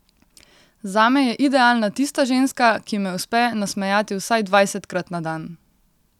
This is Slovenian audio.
Zame je idealna tista ženska, ki me uspe nasmejati vsaj dvajsetkrat na dan.